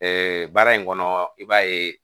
baara in kɔnɔ i b'a ye